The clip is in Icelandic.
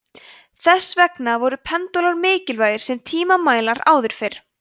þess vegna voru pendúlar mikilvægir sem tímamælar áður fyrr